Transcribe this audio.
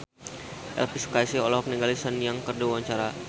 Elvi Sukaesih olohok ningali Sun Yang keur diwawancara